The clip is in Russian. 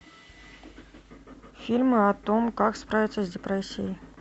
фильмы о том как справиться с депрессией